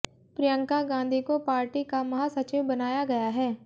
प्रियंका गांधी को पार्टी का महासचिव बनाया गया है